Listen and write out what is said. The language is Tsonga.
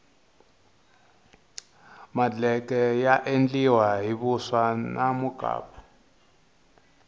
madleke ya endliwa hi vuswa na mukapu